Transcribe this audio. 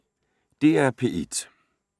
DR P1